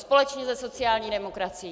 Společně se sociální demokracií.